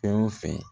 Fɛn o fɛn